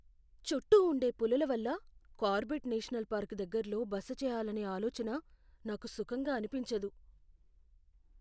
చుట్టూ ఉండే పులుల వల్ల కార్బెట్ నేషనల్ పార్క్ దగ్గరలో బస చేయ్యాలనే ఆలోచన నాకు సుఖంగా అనిపించదు.